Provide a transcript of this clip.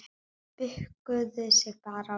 Bukkuðu sig bara og beygðu!